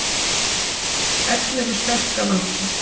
Ellefu sterka vantar